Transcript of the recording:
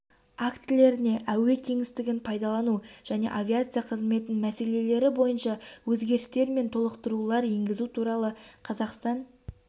актілеріне әуе кеңістігін пайдалану және авиация қызметі мәселелері бойынша өзгерістер мен толықтырулар енгізу туралы қазақстан